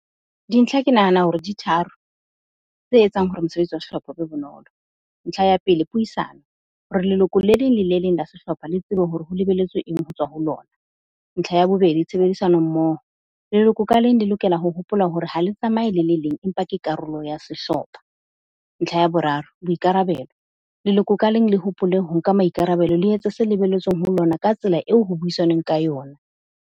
Dintlha ke nahana hore di tharo, tse etsang hore mosebetsi wa sehlopha o be bonolo. Ntlha ya pele, puisano hore leloko le leng le le leng la sehlopha, le tsebe hore ho lebeletswe eng ho tswa ho lona. Ntlha ya bobedi, tshebedisano mmoho leloko ka leng le lokela ho hopola hore ha le tsamaye le le leng empa ke karolo ya sehlopha. Ntlha ya boraro, boikarabelo leloko ka leng le hopole ho nka maikarabelo le etse se lebeletsweng ho lona ka tsela eo ho buisanweng ka yona.